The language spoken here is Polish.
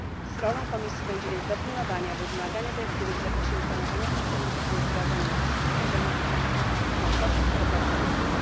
Sprawą Komisji będzie więc dopilnowanie, aby wymagania dyrektywy w zakresie informowania pracowników były wdrażane na wszystkich poziomach od państw członkowskich po pracowników.